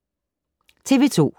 TV 2